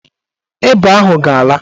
Ịba ahụ ga-ala.